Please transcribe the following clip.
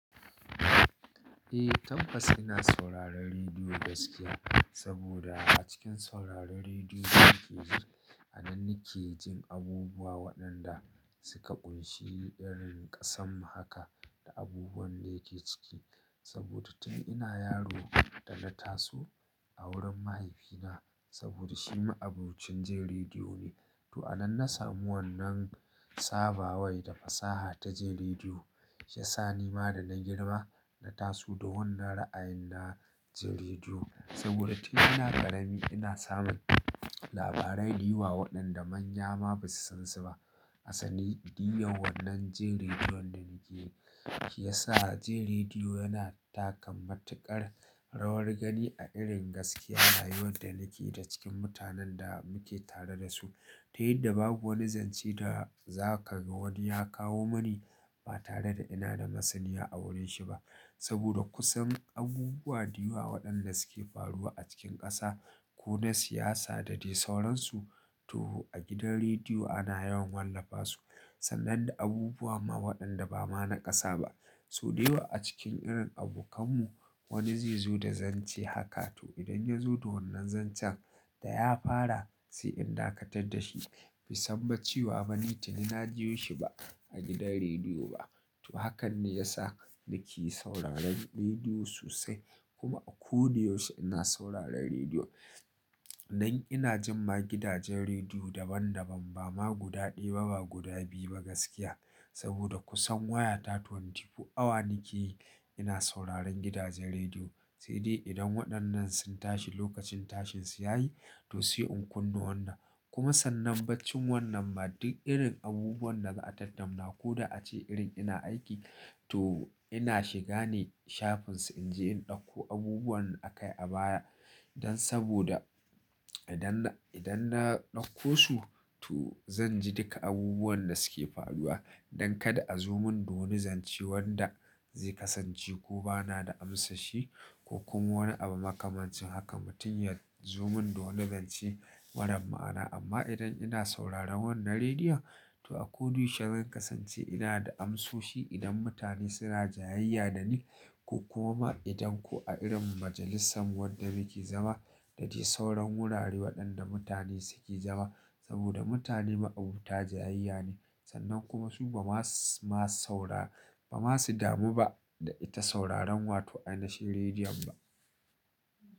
Eh, tabbas ina sauraron rediyo gaskiya. Saboda a cikin sauraron rediyo, a nan nake jin abubuwa waɗanda suka ƙunshi irin ƙasan mu haka da abubuwan da yake ciki. Saboda tun ina yaro da na taso a wurin mahaifina saboda shi ma abokcin jin rediyo ne. To a nan na samu wannan sabawai da fasaha ta jin rediyo, shiya sa ni ma da na girma na taso da wannan ra'ayin na jin rediyo. Saboda tun ina ƙarami ina samun labarai da yawa waɗanda manya ma ba su san su ba. Hassanin diyan wannan jir rediyon da nake yi, shi yasa jir rediyo yana taka matuƙar rawar gani a irin gaskiya rayuwar da nake da cikin mutanen da muke tare da su. Ta yadda babu wani zance da za ka ga wani ya kawo mani ba tare da ina da masaniya a wurin shi ba. Saboda kusan abubuwa da yawa waɗanda suke faruwa a cikin ƙasa ko na siyasa da dai sauransu, to a gidan rediyo ana yawan wallafa su. Sannan da abubuwa ma waɗanda ba ma na ƙasa ba. So dayawa a cikin irin abokanmu wani zai zo da zance haka, to idan ya zo da wannan zancen da ya fara, sai in dakatar da shi. Bai san bacewa ba ni tuni na ji shi ba a gidan rediyo ba. To hakan ne ya sa nake yi sauraron rediyo sosai. Kuma a ko duk yaushe ina sauraron rediyo. Nan ina jima gidajen rediyo daban daban ba ma guda ɗaya ba, guda biyu ba gaskiya. Saboda kusan waya ta ashirin da huɗu awa nake yi ina sauraron gidajen rediyo. Sai dai idan waɗannan sun tashi lokacin tashinsu ya yi, to sai in kunna wannan. Kuma sannan baccin wannan ma duk irin abubuwan da za a tattauna ko da ace irin ina aiki, to ina shiga ne shafin su in je in ɗauko abubuwan da aka yi a baya. Dan saboda idan, idan na ɗauko su, to zan ji duka abubuwan da suke faruwa. Don kada a zo mun da wani zance wanda zai kasance ko ba na da amsa shi, ko kuma wani abu makamancin haka mutum ya zo mun da wani zance marar ma'ana. Amma idan ina sauraron wannan rediyon, to a ko da yaushe zan kasance ina da amsoshi idan mutane suna jayayya da ni. Ko kuma idan ko a irin majalisan wanda muke zama da dai sauran wurare waɗanda mutane suke zama. Saboda mutane ma'abuta jayayya ne. Sannan kuma su ba ma, ma saurara, ba ma su damu ba da ita sauraron wa to ina shi rediyon ba.